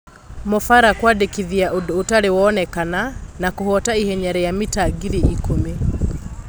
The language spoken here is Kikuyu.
Ma Fara kũandĩkithia ũndũ ũtarĩ woneka na kũhoota ihenya ria mita ngiri ikũmi.